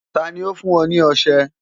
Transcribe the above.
Ta ni ó fún ọ ní ọṣẹ?